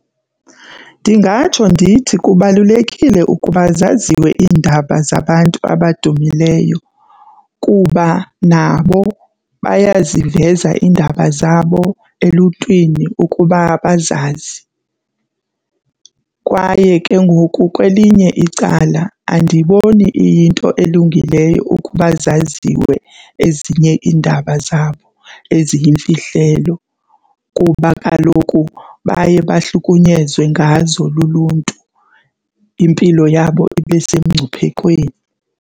Ndingatsho ndithi kubalulekile ukuba zaziwe iindaba zabantu abadumileyo kuba nabo bayaziveza iindaba zabo eluntwini ukuba bazazi. Kwaye ke ngoku kwelinye icala andiyiboni iyinto elungileyo ukuba zaziwe ezinye iindaba zabo eziyimfihlelo kuba kaloku baye bahlukunyezwe ngazo luluntu impilo yabo ibe sengcuphekweni.